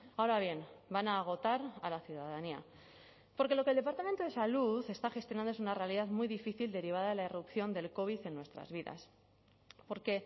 ahora bien van a agotar a la ciudadanía porque lo que el departamento de salud está gestionando es una realidad muy difícil derivada de la irrupción del covid en nuestras vidas porque